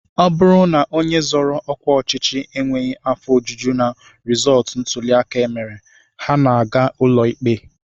Ọ bụrụ na onye zoro ọkwa ọchịchị enweghị afọ ojuju na rịzọọtụ ntụliaka e mere, ha na-aga ụlọikpe